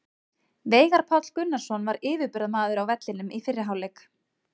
Veigar Páll Gunnarsson var yfirburðamaður á vellinum í fyrri hálfleik.